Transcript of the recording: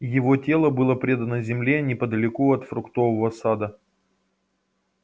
его тело было предано земле неподалёку от фруктового сада